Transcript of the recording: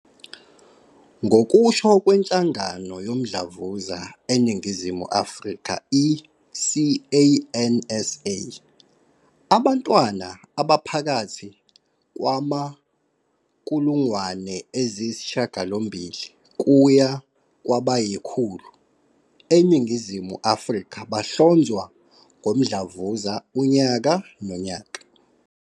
Ngokusho kweNhlangano Yomdlavuza eNingizimu Afrika, i-CANSA, abantwana abaphakathi kwama-800 kuya kwabayi-1 000 eNingizimu Afrika bahlonzwa ngomdlavuza unyaka nonyaka.